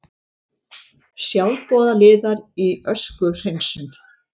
Sjálfboðaliðar í öskuhreinsun